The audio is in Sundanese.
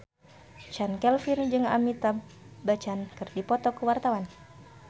Chand Kelvin jeung Amitabh Bachchan keur dipoto ku wartawan